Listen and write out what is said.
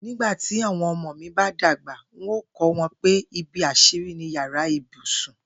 Nígbà tí àwo̩n o̩mo̩ mi bá dàgbà, n óò kó̩ wo̩n pé ibi às̩írí ni yàrá ibùsùn